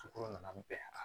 Sukoro nan bɛɛ